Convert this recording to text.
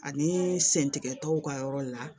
Ani sen tigɛtaw ka yɔrɔ la